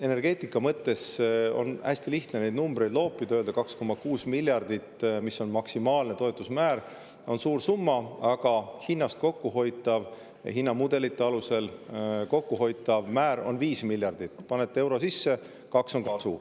Energeetika mõttes on hästi lihtne neid numbreid loopida ja öelda 2,6 miljardit – see on maksimaalne toetusmäär, see on suur summa –, aga hinnast kokkuhoitav, hinnamudelite alusel kokkuhoitav määr on 5 miljardit: panete euro sisse, kaks on kasu.